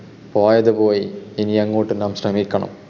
പോയതുപോയി. ഇനിയങ്ങോട്ട് നാം ശ്രമിക്കണം.